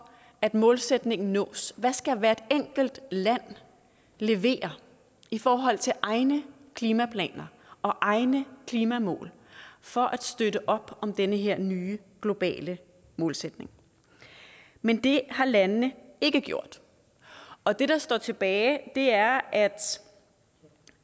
at målsætningen nås hvad skal hvert enkelt land levere i forhold til egne klimaplaner og egne klimamål for at støtte op om den her nye globale målsætning men det har landene ikke gjort og det der står tilbage er at